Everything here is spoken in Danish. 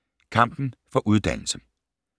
Kampen for uddannelse